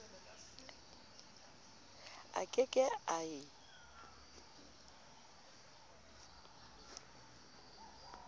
a ke ke a e